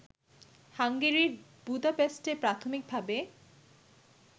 হাঙ্গেরির বুদাপেস্টে প্রাথমিকভাবে